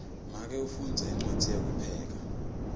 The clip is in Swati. make ufundza incwadzi yekupheka